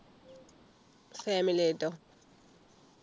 family ആയിട്ടോ